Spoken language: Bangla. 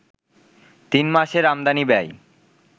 তিন মাসের আমদানি ব্যয়